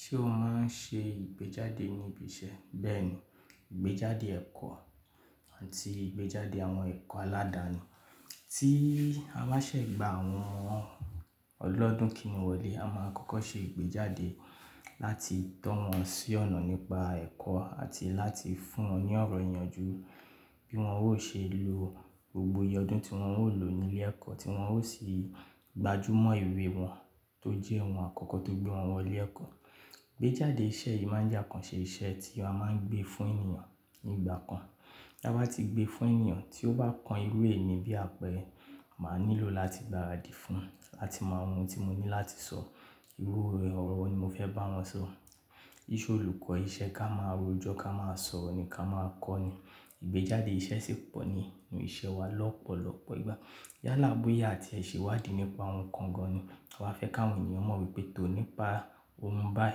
Ṣé o máa ń ṣe ìgbéjáde níbi iṣẹ́? Bẹ́ẹ̀ni, ìgbéjáde ẹ̀kọ́ àti ìgbéjáde àwọn ẹ̀kọ́ aládàáni. Tí a bá ṣẹ̀gbà àwọn ọmọ ọlọdún kíni wọlé, a máa kọ́kọ́ ṣe ìgbéjáde láti tọ́ wọn sí ọ̀nà nípa ẹ̀kọ́ àti láti fún wọn ní ọ̀rọ̀ ìyanjú bí wọ́n ó ṣe lò gbogbo iye ọdún tí wọ́n ó lò nílé ẹ̀kọ́, tí wọ́n ó sì gbájú mọ́ ìwé wọn tó jẹ́ ohun àkọ́kọ́ tó gbé wọn wọlé ẹ̀kọ́. Ìgbéjáde iṣẹ́ yìí máa ń jẹ́ àkànṣe iṣẹ́ tí a máa ń gbé fún ènìyàn nígbà kan. Bí a bá ti gbé fún ènìyàn tí ó bá kan irú èyí bí àpẹẹrẹ, màá nílò láti gbáradì fún un láti mọ ohun tí mo ní láti sọ, irú ọ̀rọ̀ wo ni mo fẹ́ bá wọn sọ. Íṣe olùkọ́, iṣẹ́ ká máa rojọ́ ká máa sọ̀rọ̀ ni ká máa kọ́ ni. Ìgbéjáde iṣẹ́ sì pọ̀ ní inú iṣẹ́ wa lọ́pọ̀lọ́pọ̀ ìgbà. Yálà bóyá àti èṣìwádìí nípa ohun kan gan-an ni. A fẹ́ káwọn ènìyàn mọ̀ wípé tòní pa ohun báì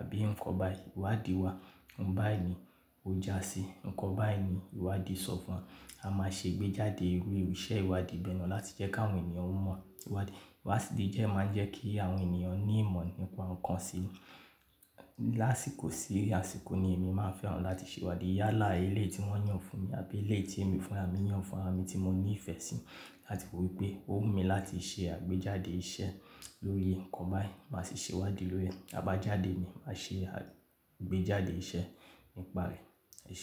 àbí ǹkan báì ìwádìí wa, ohun báì ni ó jásí, ǹkan báì ni ìwádìí sọ fún wọn. A máa ṣe ìgbéjáde irú iṣẹ́ ìwádìí bẹ́ẹ̀ lọ láti jẹ́ káwọn ènìyàn mọ̀ ìwádìí. Ìwádìí jẹ́ ẹ máa ń jẹ́ kí àwọn ènìyàn ní ìmọ̀ nípa ǹkan sí. Láṣìkò sí láṣìkò ni èmi máa ń fẹ́ràn láti ṣèwádìí yálà ilé tí wọ́n yàn fún mi àbí ilé tí èmi fúnra mi yàn fúnra mi tí mo ní ìfẹ́ sí láti wípé ó wù mí láti ṣe àgbéjáde iṣẹ́ lórí ǹkan báì, màá sì ṣèwádìí lórí rẹ̀. A bá jáde ni, màá ṣe àgbéjáde iṣẹ́ nípa rẹ̀. Eṣé.